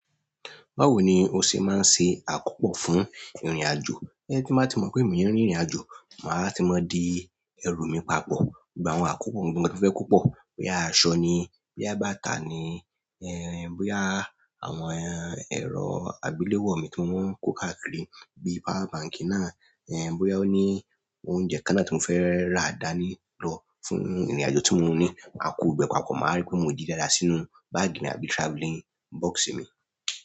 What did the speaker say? Báwo ni o ṣe máa ń ṣe àkópò fún ìrìnàjò? Tí mo bá tí mọ̀ pé èmi óò rin ìrìnàjò, màá ti mọ̀ di ẹrù mi papọ̀, gbogbo àwọn àkópò ohun gbogbo tí mo fẹ́ kó pọ̀. Bóyá aṣọ ni, bóyá bàtà ni, ẹ́ bóyá àwọn ẹ̀rọ agbeléwọ mi tí mo n kó káàkiri bí i power bank náà, ẹ́ bóyá ó ní oúnjẹ kan náà tí mo fẹ́ rà dání lọ fún ìrìnàjò tí mo ní. Màá kó gbogbo papọ̀, màá rí pé mo di dáadáa sínú báàgì mi àbí travelling box mi.